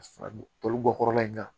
Fara tolibɔ kɔrɔla in kan